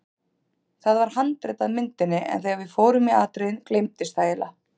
Það var handrit að myndinni en þegar við fórum í atriðin gleymdist það eiginlega.